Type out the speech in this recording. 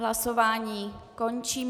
Hlasování končím.